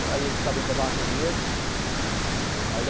Aí eles sabiam que eu estava com dinheiro. aí ele